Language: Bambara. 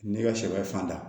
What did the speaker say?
Ne ka sɛbɛ fan da